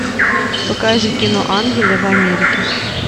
покажи кино ангелы в америке